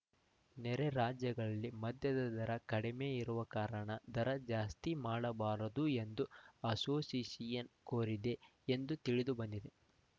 ನೆರೆ ರಾಜ್ಯಗಳಲ್ಲಿ ಮದ್ಯದ ದರ ಕಡಿಮೆ ಇರುವ ಕಾರಣ ದರ ಜಾಸ್ತಿ ಮಾಡಬಾರದು ಎಂದು ಅಸೋಷಿಯೇಷನ್‌ ಕೋರಿದೆ ಎಂದು ತಿಳಿದುಬಂದಿದೆ